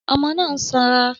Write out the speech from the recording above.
Ọmọ náà á sanra